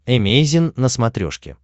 эмейзин на смотрешке